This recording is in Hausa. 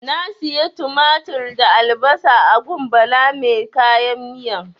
Na siya tumatir da albasan a gun Bala mai kayan miyan.